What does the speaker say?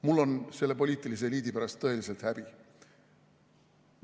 Mul on selle poliitilise eliidi pärast tõeliselt häbi.